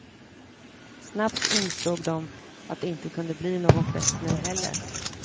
Snabbt insåg de att det inte kunde bli någon fest nu heller.